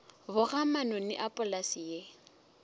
boga manoni a polase ye